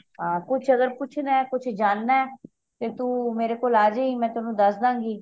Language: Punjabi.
ਹਾਂ ਕੁਛ ਅਗਰ ਪੁੱਛਣਾ ਕੁਛ ਜਾਨਣਾ ਤੇ ਤੂੰ ਮੇਰੇ ਕੋਲ ਆਜੀ ਮੈਂ ਤੈਨੂੰ ਦੱਸ ਦਾ ਗੀ